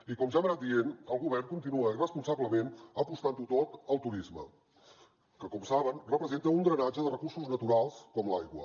i com ja hem anat dient el govern continua irresponsablement apostant ho tot al turisme que com saben representa un drenatge de recursos naturals com l’aigua